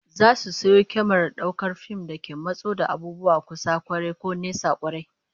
Za su sayo kyamarar daukar fim da ke matso da abubuwa kusa kwarai, ko nesa kwarai